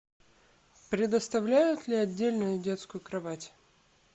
предоставляют ли отдельную детскую кровать